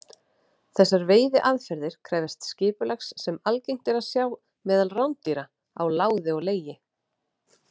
Þessar veiðiaðferðir krefjast skipulags sem algengt er að sjá meðal rándýra, á láði og legi.